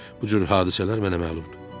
Bu cür hadisələr mənə məlumdur.